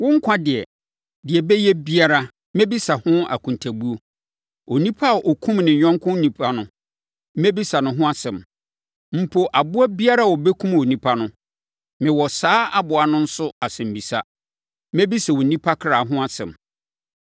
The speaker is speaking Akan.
Wo nkwa deɛ, deɛ ɛbɛyɛ biara, mɛbisa ho akontabuo. Onipa a ɔkum ne yɔnko onipa no, mɛbisa no ho asɛm. Mpo, aboa biara a ɔbɛkum onipa no, mewɔ saa aboa no nso asɛmmisa. Mɛbisa onipa kra ho asɛm.